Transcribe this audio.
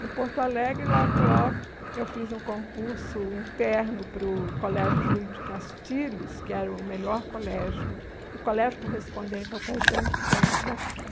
Em Porto Alegre, logo, logo, eu fiz um concurso interno para o Colégio Júlio de Castilhos, que era o melhor colégio, o colégio correspondente ao Caetano de Campos aqui.